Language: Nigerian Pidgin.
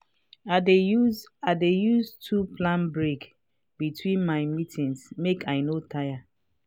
i dey use i dey use too plan breaks between my meetings make i no tire.